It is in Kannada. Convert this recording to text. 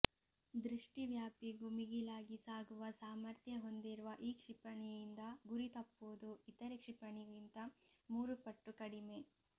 ದೃಷ್ಠಿವ್ಯಾಪಿಗೂ ಮಿಗಿಲಾಗಿ ಸಾಗುವ ಸಾಮರ್ಥ್ಯ ಹೊಂದಿರುವ ಈ ಕ್ಷಿಪಣಿಯಿಂದ ಗುರಿ ತಪ್ಪುವುದು ಇತರೆ ಕ್ಷಿಪಣಿಗಿಂತ ಮೂರುಪಟ್ಟು ಕಡಿಮೆ